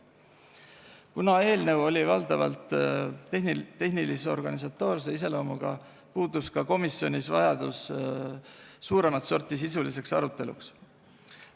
Kuna eelnõu oli valdavalt tehnilis-organisatoorse iseloomuga, puudus ka komisjonis vajadus suuremat sorti sisuliseks aruteluks.